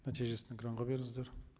нәтижесін экранға беріңіздер